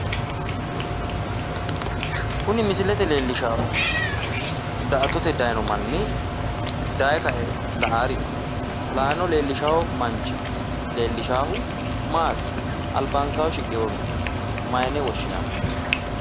Kuni misilete leellishaahu daa"attote daayiino manni dayee kae la'aari no. yaano leellishawo manchi leellishaahu maati? albansaa shiqewooha maayiine woshshinanni?